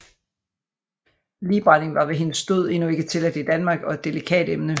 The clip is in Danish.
Ligbrænding var ved hendes død endnu ikke tilladt i Danmark og et delikat emne